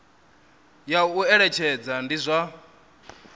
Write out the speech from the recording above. ya u eletshedza ndi zwa